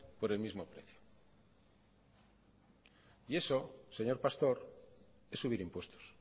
por el mismo precio y eso señor pastor es subir impuestos